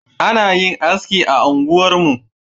Ana yin anski a unguwarmu